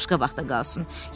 Başqa vaxta qalsın.